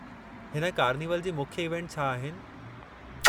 हिन कार्निवल जी मुख्य इवेंट छा आहिनि?